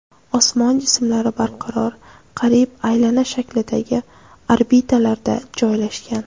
Osmon jismlari barqaror, qariyb aylana shaklidagi orbitalarda joylashgan.